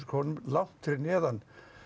krónum langt fyrir neðan